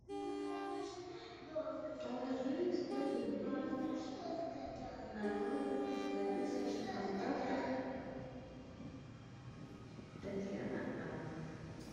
положи сто рублей на номер записанный в контактах татьяна а